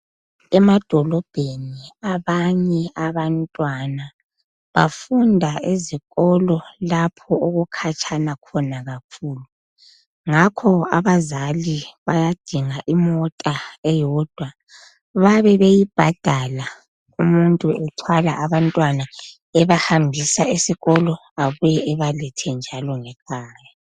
Emadolobheni abanye abantwana bafunda ezikolo lapho okukhatshana khona kakhulu ngakho abazali bayadinga imota eyodwa babebeyibhadala umuntu ethwala abantwana ebahambisa esikolo abuye ebalethe njalo ngekhaya.